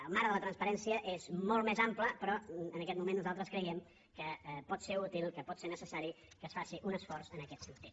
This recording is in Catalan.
el marc de la transparència és molt més ample però en aquest moment nosaltres creiem que pot ser útil que pot ser necessari que es faci un esforç en aquest sentit